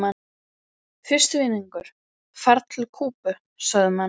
Fyrsti vinningur, ferð til Kúbu sögðu menn.